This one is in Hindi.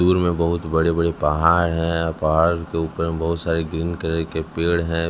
दूर में बहुत बड़े बड़े पहाड़ हैं पहाड़ के ऊपर में बहुत सारे ग्रीन कलर के पेड़ हैं।